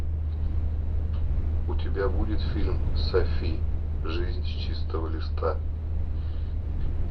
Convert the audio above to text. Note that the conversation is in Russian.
у тебя будет фильм софи жизнь с чистого листа